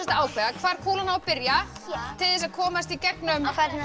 ákveða hvar kúlan á að byrja til þess að komast í gegnum